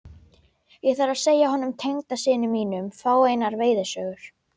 Ég þarf að segja honum tengdasyni mínum fáeinar veiðisögur.